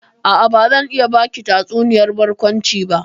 A'a, bazan iya baki tatsuniyar barkwanci ba.